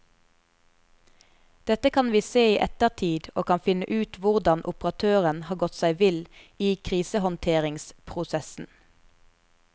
Dette kan vi se i ettertid og kan finne ut hvordan operatøren har gått seg vill i krisehåndteringsprosessen.